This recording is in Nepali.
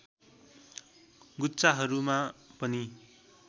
गुच्छाहरूमा पनि